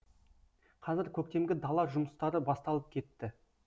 қазір көктемгі дала жұмыстары басталып кетті